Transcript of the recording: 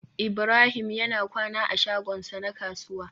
Ibrahim yana kwana a shagonsa na kasuwa